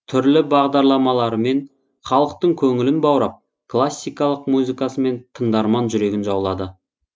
түрлі бағдарламаларымен халықтың көңілін баурап классикалық музыкасымен тыңдарман жүрегін жаулады